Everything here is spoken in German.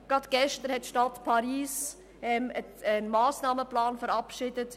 Gerade gestern hat die Stadt Paris einen Massnahmenplan verabschiedet.